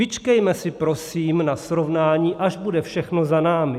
Vyčkejme si prosím na srovnání, až bude všechno za námi!